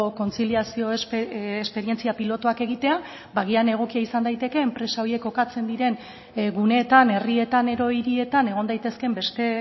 kontziliazio esperientzia pilotuak egitea ba agian egokia izan daiteke enpresa horiek kokatzen diren guneetan herrietan edo hirietan egon daitezkeen beste